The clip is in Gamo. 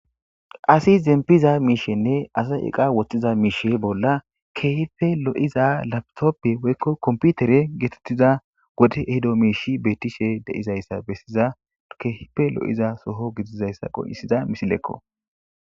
asi zempiza miishenne asay eqa woththiza miishe bolla keehife lo7iza laptoppe woykko komputere geetettiza gode ehido miishi beettishe deizayssa bessiza keehife lo7iza soho gidizayssa qoyisiza misilekko